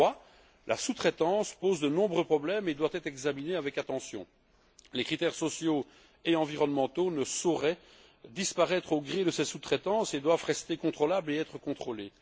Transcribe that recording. Troisième point la sous traitance pose de nombreux problèmes et doit être examinée avec attention. Les critères sociaux et environnementaux ne sauraient disparaître au gré de ces sous traitances et doivent rester contrôlables et être contrôlés.